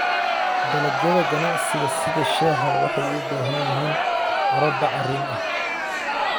Dalagyada ganacsiga sida shaaha waxay u baahan yihiin carro bacrin ah.